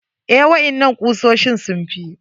Eh, waƴannan kusoshin sun fi.